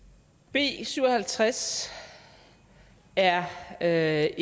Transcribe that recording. b syv og halvtreds er er